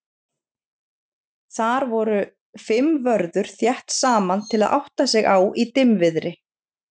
þar voru fimm vörður þétt saman til að átta sig á í dimmviðri